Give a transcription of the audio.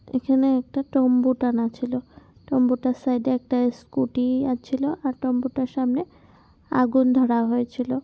এখানে একটা তাম্বু টানা হয়েছিলো। তাম্বু টার সাইডে একটা স্ক্যুটি -ও ছিলো আর তাবু টার সামনে আগুন ধরা হয়ে ছিল।